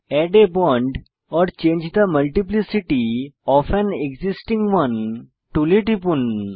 add a bond or change the multiplicity of an existing one tool টিপুন